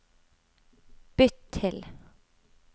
bytt til